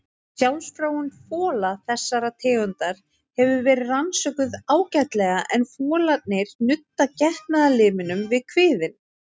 Sjálfsfróun fola þessara tegunda hefur verið rannsökuð ágætlega en folarnir nudda getnaðarlimnum við kviðinn.